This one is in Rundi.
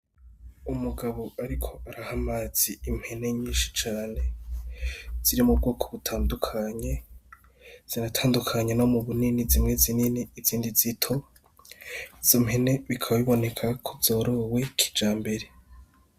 Umugabo ariko araha amazi impene nyinshi cane ziri mu bwoko butandukanye, ziratandukanye no mu bunini zimwe zinini izindi zito, izo mpene bikaba biboneka ko zorowe kijambere.